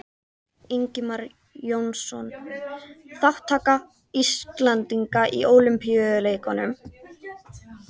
Ingimar Jónsson: Þátttaka Íslendinga í Ólympíuleikunum